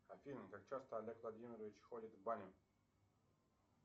афина как часто олег владимирович ходит в баню